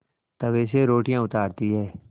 तवे से रोटियाँ उतारती हैं